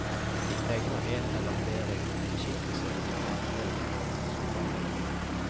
Vi tegner en eller flere gudeskikkelser og gjør andre formingsoppgaver.